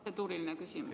Palun!